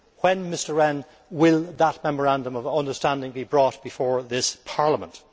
When, Mr Rehn, will that Memorandum of Understanding be brought before this Parliament?